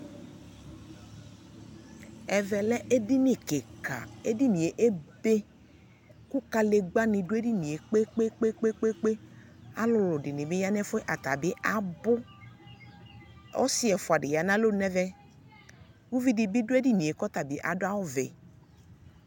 Ɛvɛ lɛ edɩini kika, edinie ebe Kǝdegbǝnɩ dʋ edinie kpekpekpekpekpekpe Alʋlʋ dɩnɩ bɩ ya n'ɛfʋɛ, atanɩ abʋ ! Ɔsɩ ɛfʋa dɩ ya n'alonu n'ɛvɛ Uvidɩ bɩ dʋ edinie k'ɔta bɩ adʋ awʋvɛ